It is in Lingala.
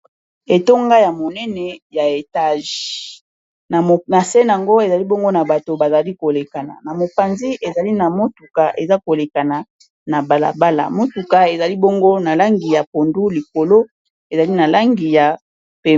Etonga ya monene ya etage na se nango ezali bongo na bato bazali kolekana na mopanzi ezali na motuka eza kolekana na balabala motuka ezali bongo na langi ya pondu likolo ezali na langi ya pe...